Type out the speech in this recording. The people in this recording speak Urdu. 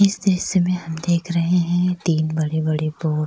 اسس دریشیا مے ہم دیکھ رہی ہیں تین بڑے بڑے بورڈ